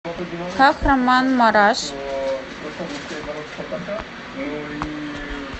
кахраманмараш